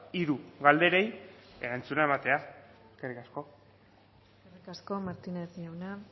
hiru galderei erantzuna ematea eskerrik asko eskerrik asko martínez jauna